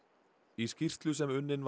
í skýrslu sem unnin